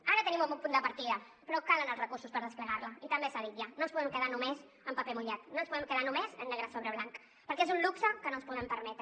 ara tenim un bon punt de partida però calen els recursos per desplegar la i també s’ha dit ja no ens podem quedar només en paper mullat no ens podem quedar només en negre sobre blanc perquè és un luxe que no ens podem permetre